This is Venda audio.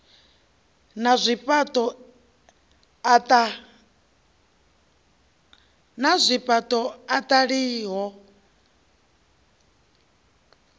na zwifhaṱo ataf a i